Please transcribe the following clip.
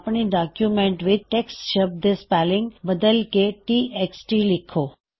ਅਪਣੇ ਡੌਕਯੁਮੈੱਨਟ ਵਿੱਚ ਟੈਕਸਟ ਸ਼ਬਦ ਦੇ ਸਪੈੱਲਿੰਗ ਬਦਲ ਕੇ T X T T X T ਲਿੱਖੋ